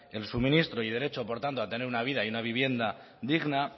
el suministro y el derecho por tanto a tener una vida y una vivienda digna